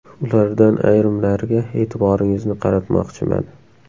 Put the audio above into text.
Ulardan ayrimlariga e’tiboringizni qaratmoqchiman.